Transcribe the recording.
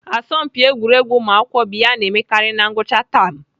Asọmpi egwuregwu ụmụakwụkwọ bụ ihe ana emekarị na ngwụcha tam.